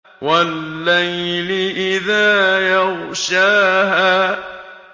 وَاللَّيْلِ إِذَا يَغْشَاهَا